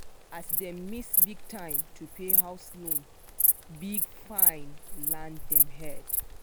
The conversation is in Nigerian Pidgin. as dem miss the time to pay house loan big fine land dem head.